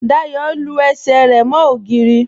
Dáyọ lú ẹṣẹ̀ rẹ mo ogìrì